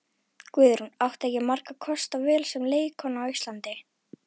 Guðrún átti ekki margra kosta völ sem leikkona á Íslandi.